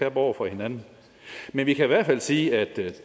op over for hinanden men vi kan i hvert fald sige at